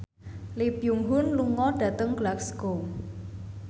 Lee Byung Hun lunga dhateng Glasgow